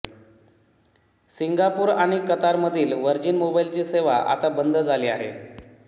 Singapore आणि Qatar मधील Virgin मोबाइलची सेवा आता बंद झाली आहे